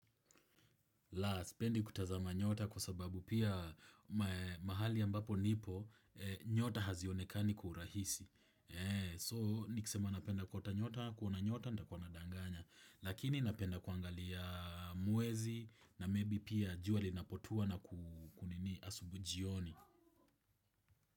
Siipendi kutazama nyota kwa sababu pia mahali ya ambapo nipo nyota hazionekani kwa urahisi. So nikisema napenda kuota nyota, kuona nyota nitkuwa nadanganya. Lakini napenda kuangalia mwezi na maybe pia jua linapotoa na kuku nini asubuhi jioni.